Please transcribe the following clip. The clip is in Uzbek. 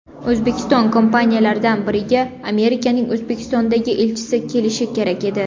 O‘zbekiston kompaniyalaridan biriga Amerikaning O‘zbekistondagi elchisi kelishi kerak edi.